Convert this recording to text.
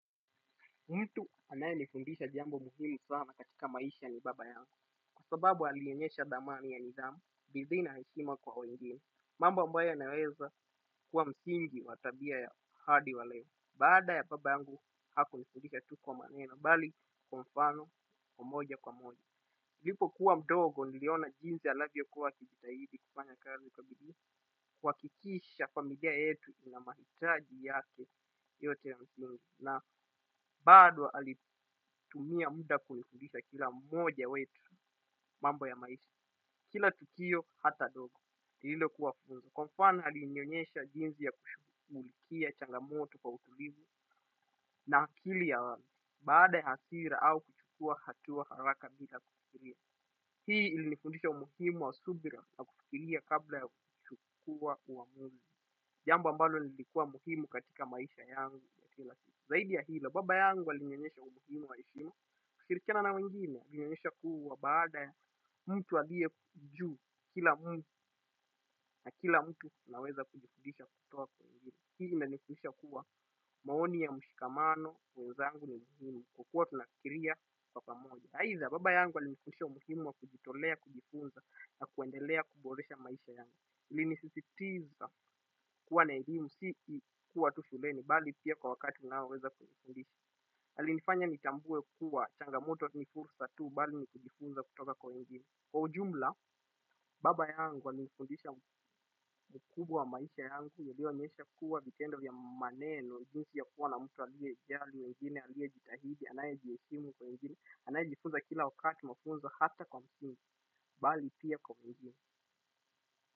Mtu anaye nifundisha jambo muhimu sana katika maisha ni baba yangu. Kwa sababu alinionyesha dhamani ya nidhamu. Bidii na heshima kwa wengine. Mambo ambayo yanaweza kuwa msingi wa tabia ya hadi wa leo. Baada ya baba yangu hakunifundisha tu kwa maneno. Bali, kwa mfano, wa moja kwa moja. Nilipokuwa mdogo niliona jinsi anavyokuwa akijitahidi kufanya kazi kwa bidii. Kuhakikisha familia yetu ina mahitaji yake yote ya msingi. Na bado alitumia muda kunifundisha kila mmoja wetu mambo ya maisha. Kila tukio hata dogo. Lililokuwa funzo. Kwa mfano alinionyesha jinsi ya kushughulikia changamoto kwa utulivu na akili ya wazi. Baada ya hasira au kuchukua hatua haraka bila kufikiria. Hii ilinifundisha umuhimu wa subira na kufikiria kabla ya kuchukua uamuzi. Jambo ambalo lilikuwa muhimu katika maisha yangu ya kila siku. Zaidi ya hilo, baba yangu alinionyesha umuhimu wa heshima. Shirikiana na wengine, alinionyesha kuwa baada ya mtu aliye juu. Kila mtu na kila mtu anaweza kujifudisha kutoka kwa wengine. Hii inanifundisha kuwa maoni ya mshikamano, wenzangu, ni muhimu kwa kuwa tunafikiria kwa pamoja. Aidha, baba yangu alinifundisha umuhimu wa kujitolea, kujifunza, na kuendelea kuboresha maisha yangu. Nilisisitiza kuwa na elimu si kuwa tu shuleni bali pia kwa wakati unaoweza kujifundisha alinifanya nitambue kuwa changamoto ni fursa tu bali ni kujifunza kutoka kwa wengine kwa ujumla baba yangu alinifundisha mkubwa wa maisha yangu nilionyesha kuwa vitendo vya maneno jinsi ya kuwa na mtu aliye jali wengine aliye jitahidi anaye jiheshimu kwa wengine anaye jifunza kila wakati mafunzo hata kwa msini bali pia kwa njini.